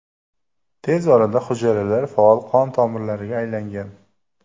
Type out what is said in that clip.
Tez orada hujayralar faol qon tomirlariga aylangan.